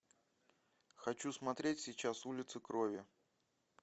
хочу смотреть сейчас улицы крови